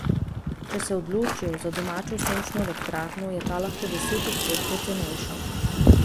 Če se odločijo še za domačo sončno elektrarno, je ta lahko deset odstotkov cenejša.